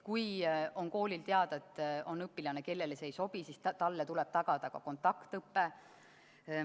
Kui koolil on teada, et on õpilane, kellele see ei sobi, siis talle tuleb tagada ka kontaktõpe.